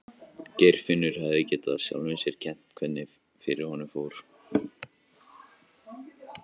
Geirfinnur hefði getað sjálfum sér um kennt hvernig fyrir honum fór.